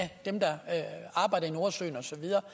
dem der arbejder i nordsøen og så videre